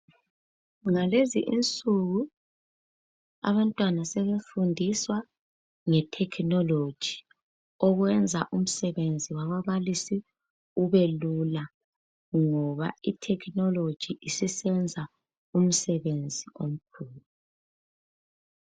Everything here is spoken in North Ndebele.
Ngalezi insuku abantwana sebefundiswa ngethekhinoloji okwenza umsebenzi wababalisi ube lula ngoba ithekhinoloji isisenza umsebenzi omkhulu.